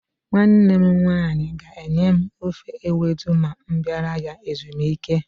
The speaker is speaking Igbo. Nwanne m nwaanyị ga-enye m ofe ewedu ma m bịara ya ezumike.